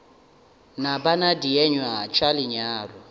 na bana dienywa tša lenyalo